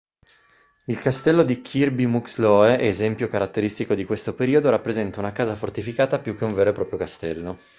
il castello di kirby muxloe esempio caratteristico di questo periodo rappresenta una casa fortificata più che un vero e proprio castello